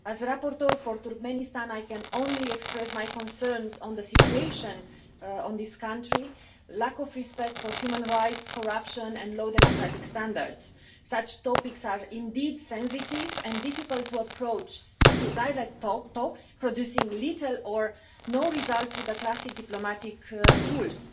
As rapporteur for Turkmenistan, I can only express my concerns on the situation in this country lack of respect for human rights, corruption and low democratic standards. Such topics are indeed sensitive and difficult to approach through direct talks, producing little or no result through the classic diplomatic tools.